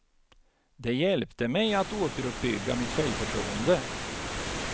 Det hjälpte mig att återuppbygga mitt självförtroende.